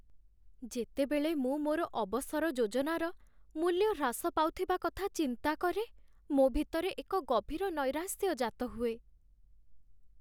ଯେତେବେଳେ ମୁଁ ମୋର ଅବସର ଯୋଜନାର ମୂଲ୍ୟ ହ୍ରାସ ପାଉଥିବା କଥା ଚିନ୍ତା କରେ, ମୋ ଭିତରେ ଏକ ଗଭୀର ନୈରାଶ୍ୟ ଜାତ ହୁଏ।